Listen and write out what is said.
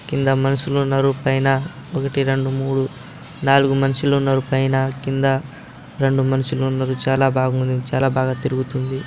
కింద మనుషులు ఉన్నారు. పైన ఒకటి రెండు మూడు నాలుగు మనుషులు ఉన్నారు. పైన కింద రెండు మనుషులు ఉన్నారు. చాలా బాగుంది. చాలా బాగా తిరుగుతుంది.